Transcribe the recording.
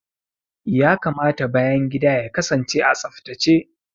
Ya kamata bayan gida ya kasance a tsaftace.